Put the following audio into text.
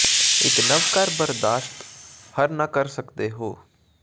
ਇੱਕ ਨਵ ਕਾਰ ਬਰਦਾਸ਼ਤ ਹਰ ਨਾ ਕਰ ਸਕਦੇ ਹੋ